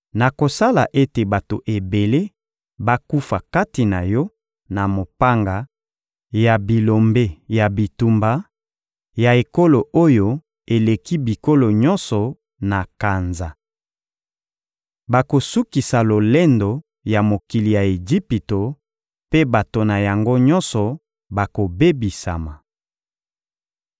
Nakosala ete bato ebele bakufa kati na yo na mopanga ya bilombe ya bitumba ya ekolo oyo eleki bikolo nyonso na kanza. Bakosukisa lolendo ya mokili ya Ejipito mpe bato na yango nyonso bakobebisama.